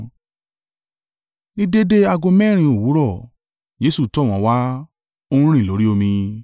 Ní déédé ago mẹ́rin òwúrọ̀, Jesu tọ̀ wọ́n wá, ó ń rìn lórí omi.